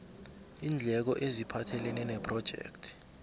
iindleko eziphathelene nephrojekthi